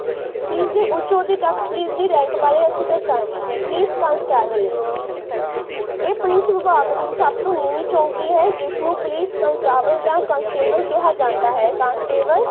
Police ਦੇ ਉੱਚ ਆਉਦੇ ਤੱਕ ਬਾਰੇ ਅਸੀਂ ਦੱਸਾਂਗੇ। ਪੁਲਿਸ ਕਾਂਸਟੇਬਲ ਇਹ ਪੁਲਿਸ ਵਿਭਾਗ ਦੀ ਸਬਤੋਂ ਨੀਵੀਂ ਚੋਂਕੀ ਹੈ। ਜਿਸਨੂੰ ਪੁਲਿਸ ਜਾਂ ਕਿਹਾ ਜਾਂਦਾ ਹੈ।